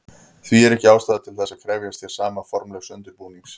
Því er ekki ástæða til þess að krefjast hér sama formlegs undirbúnings.